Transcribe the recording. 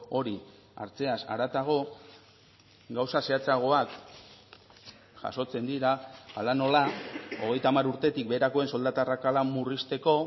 hori hartzeaz haratago gauza zehatzagoak jasotzen dira hala nola hogeita hamar urtetik beherakoen soldata arrakala murrizteko